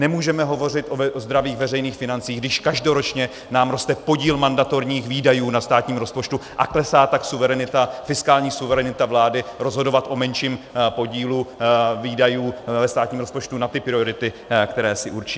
Nemůžeme hovořit o zdravých veřejných financích, když každoročně nám roste podíl mandatorních výdajů na státním rozpočtu a klesá tak fiskální suverenita vlády rozhodovat o menším podílu výdajů ve státním rozpočtu na ty priority, které si určí.